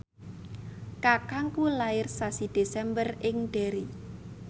kakangku lair sasi Desember ing Derry